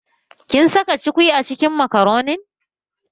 Kin saka cukwi a cikin makaronin?